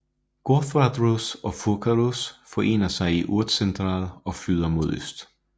Gotthardreuss og Furkareuss forener sig i Urserental og flyder mod øst